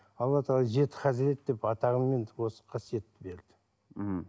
алла тағала жеті қасірет деп осы қасиетті берді мхм